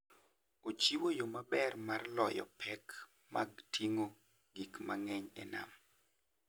Ochiwo yo maber mar loyo pek mag ting'o gik mang'eny e nam.